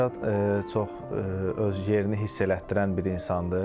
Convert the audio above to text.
Rəşad çox öz yerini hiss elətdirən bir insandır.